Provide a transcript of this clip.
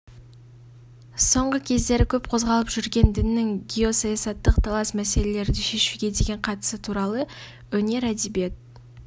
соңғы кездері көп қозғалып жүрген діннің геосаясаттық талас мәселелерді шешуге деген қатысы туралы өнер әдебиет